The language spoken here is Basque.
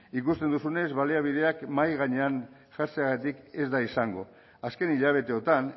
ikusten duzunez baliabideak mahai gainean jartzeagatik ez da izango azken hilabeteotan